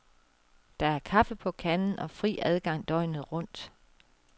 Der er kaffe på kanden og fri adgang døgnet rundt.